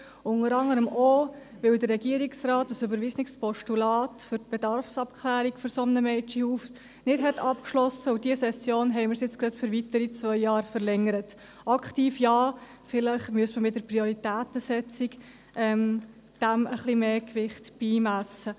Dies unter anderem auch, weil der Regierungsrat ein überwiesenes Postulat für die Bedarfsabklärung für ein solches Mädchenhaus nicht abgeschlossen hat, wobei wir es in dieser Session gerade für weitere zwei Jahre verlängert haben – aktiv ja, aber vielleicht müsste man dem in der Prioritätensetzung etwas mehr Gewicht beimessen.